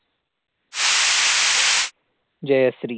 Jayashree